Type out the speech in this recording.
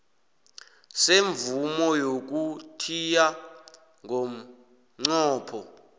semvumo yokuthiya ngomnqopho